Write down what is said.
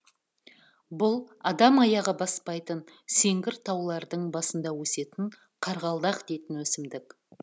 бұл адам аяғы баспайтын сеңгір таулардың басында өсетін қарғалдақ дейтін өсімдік